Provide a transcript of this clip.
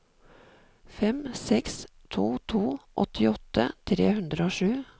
fem seks to to åttiåtte tre hundre og sju